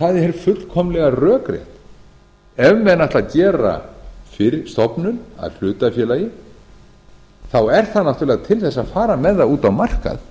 það er fullkomlega rökrétt ef menn ætla að gera stofnun að hlutafélagi þá er það náttúrlega til þess að fara með það út á markað